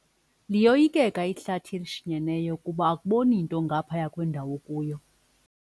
Liyoyikeka ihlathi elishinyeneyo kuba akuboni nto ngaphaya kwendawo okuyo.